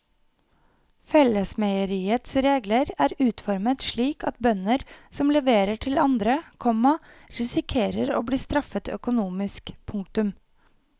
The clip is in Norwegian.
Fellesmeieriets regler er utformet slik at bønder som leverer til andre, komma risikerer å bli straffet økonomisk. punktum